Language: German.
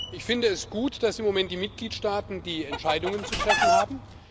Ich finde es gut, dass im Moment die Mitgliedstaaten die Entscheidungen zu treffen haben.